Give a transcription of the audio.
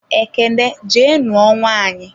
Ekene jee nuo nwaanyị!